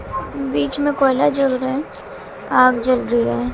बीच में कोयला जल रहा है आग जल रही है।